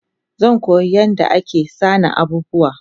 Zankoya yadda ake sana abubuwa